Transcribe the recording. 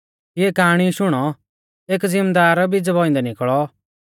इऐं काआणी शुणौ एक ज़िमदार बीजा बौइंदै निकल़ौ